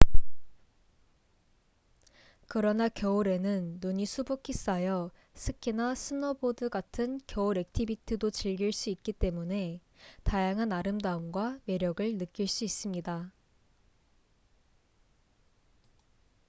그러나 겨울에는 눈이 수북히 쌓여 스키나 스노보드 같은 겨울 액티비티도 즐길 수 있기 때문에 다양한 아름다움과 매력을 느낄 수 있습니다